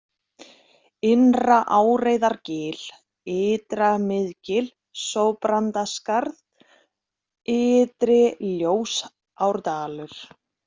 Innra-Áreiðargil, Ytra-Miðgil, Sópandaskarð, Ytri-Ljósárdalur